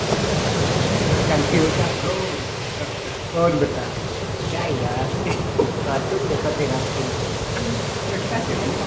तू ना गजब कर रहा है एक सेल्फी हो जाए ब्रो | और बता क्या यार कार्टून जैसा तेरा फिगर है लगता है सीमेंट --